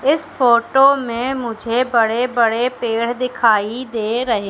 इस फोटो में मुझे बड़े बड़े पेड़ दिखाई दे रहे--